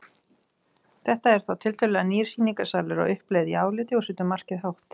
Þetta er þá tiltölulega nýr sýningarsalur á uppleið í áliti og setur markið hátt.